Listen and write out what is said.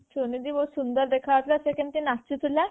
ସୁନିଧି ବହୁତ ସୁନ୍ଦର ଦେଖା ଯାଉଥିଲା ସେ କେମତି ନାଚୁ ଥିଲା